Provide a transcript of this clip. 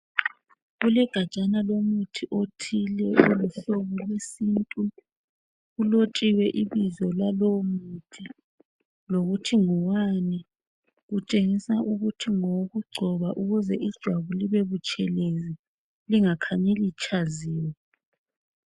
Kulegajana lomuthi othile oluhlobo lwesintu. Kulotshiwe ibizo lalowo muthi lokuthi ngowani ..Kutshengisa ukuthi ngowokugcoba ukuze ijwabu libe butshelezi lingakhanyi litshaziwe .